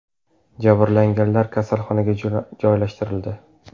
Jabrlanganlar kasalxonaga joylashtirildi.